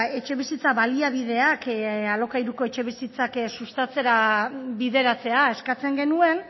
etxebizitza baliabideak alokairuko etxebizitzak sustatzera bideratzea eskatzen genuen